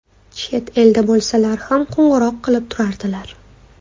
Chet elda bo‘lsalar ham qo‘ng‘iroq qilib turardilar.